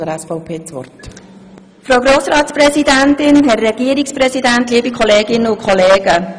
Für die SVP-Fraktion hat Grossrätin Hebeisen das Wort.